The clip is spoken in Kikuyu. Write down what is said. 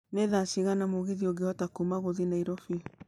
nĩ thaa cigana mũgithi ũngĩhota kuuma gũthiĩ nairobi